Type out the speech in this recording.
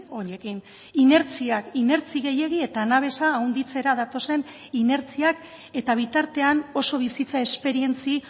honekin inertziak inertzi gehiegi eta anabesa handitzera datozen inertziak eta bitartean oso bizitza esperientzia